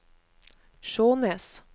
Skjånes